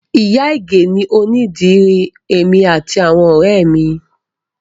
Ìyá ìgè ni onídìrí èmi àti àwọn ọ̀rẹ́ ẹ mi